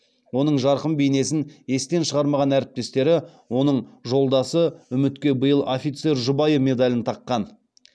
оның жарқын бейнесін естен шығармаған әріптестері оның жолдасы үмітке биыл офицер жұбайы медалін таққан